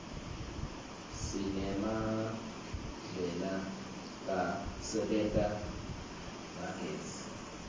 sinemagdlela kasebenta ngagezi